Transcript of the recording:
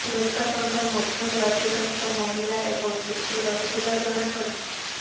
ମୃତକଙ୍କ ମଧ୍ୟରେ ଅଧିକାଂଶ ମହିଳା ଏବଂ ଶିଶୁ ରହିଥିବା ଜଣାପଡ଼ିଛି